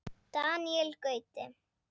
Daníel Gauti.